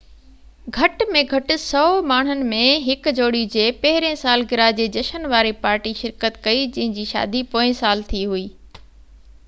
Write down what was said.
گهٽ ۾ گهٽ 100 ماڻهن ۾ هڪ جوڙي جي پهريئن سالگرهه جي جشن واري پارٽي شرڪت ڪئي جنهن جي شادي پوئين سال ٿي هئي